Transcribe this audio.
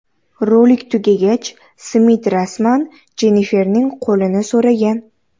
Rolik tugagach, Smit rasman Jenniferning qo‘lini so‘ragan.